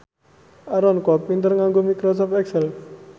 Aaron Kwok pinter nganggo microsoft excel